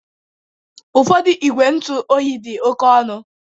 Ụfọdụ igwe ntụ oyi dị oke ọnụ